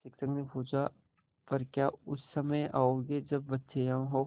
शिक्षक ने पूछा पर क्या उस समय आओगे जब बच्चे यहाँ हों